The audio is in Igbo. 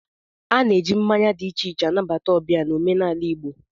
A na-eji mmanya dị iche iche anabata ọbịa n'omenala Igbo